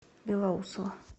белоусово